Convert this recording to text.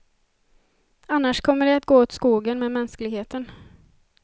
Annars kommer det att gå åt skogen med mänskligheten.